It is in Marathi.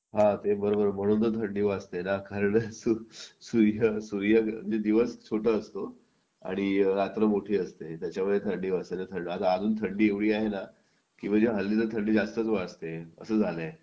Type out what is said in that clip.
हा बरोबर म्हणून तर थंडी वाजते म्हणजे सूर्य सूर्य दिवस छोटा असतो आणि रात्र मोठी असते त्याच्यामुळे थंडी वाजायला तर अजून पण थंडी एवढी आहे ना म्हणजे हल्ली तो थंडी जास्तीच वाजते असं झालं आहे